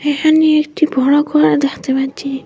এখানে একটি বড় গর দেখতে পাচ্ছি।